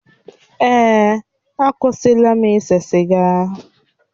Èè, akwụsịla m ise siga.